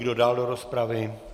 Kdo dál do rozpravy?